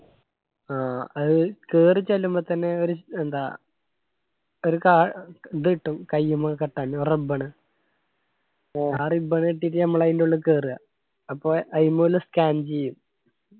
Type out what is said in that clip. ആ അത് കേറിച്ചെല്ലുമ്പോ തന്നെ ഒരു എന്താ ഒരു കാൾ ഇതു കിട്ടും കയ്യുമ്മ കെട്ടാൻ ഒരു ribbon ആ ribbon ഇട്ടിട്ട് ഞമ്മള് ആയിന്റുള്ളിൽ കേറുവ അപ്പൊ ആയിമ്മല് scan ചെയ്യും.